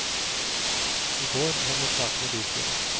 I går havnet saken i bystyret.